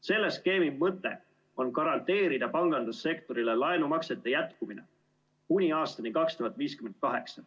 Selle skeemi mõte on garanteerida pangandussektorile laenumaksete jätkumine kuni aastani 2058.